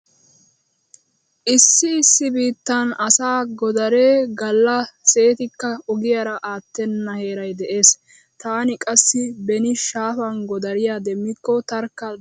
Issi issi biittan asaa godaree galla seetikka ogiyaara aattenna heeray de'ees. Taani qassi beni shaafan godariya demmikko tarkka dagaman kunddaaggays.